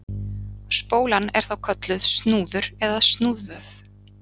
Spólan er þá kölluð snúður eða snúðvöf.